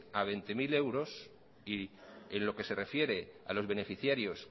a veinte mil euros y en lo que se refiere a los beneficiarios